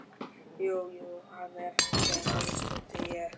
Jú jú hann er frændi þinn stundi ég.